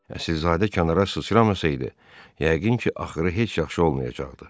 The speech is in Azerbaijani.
Əsilzadə kənara sıçramasaydı, yəqin ki, axırı heç yaxşı olmayacaqdı.